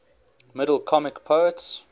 middle comic poets